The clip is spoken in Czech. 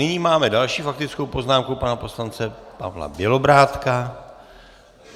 Nyní máme další faktickou poznámku pana poslance Pavla Bělobrádka.